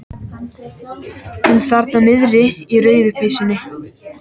Hún þarna niðri í rauðu peysunni.